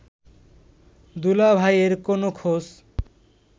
দুলাভাইয়ের কোন খোঁজ